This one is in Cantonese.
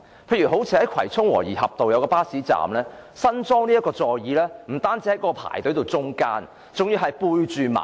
例如新近在葵涌和宜合道一個巴士站安裝的座椅，不單位處排隊行列的中間，而且背向馬路。